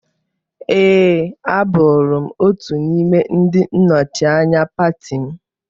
Ee, abụrụ m otu n'ime ndị nnọchianya pati m.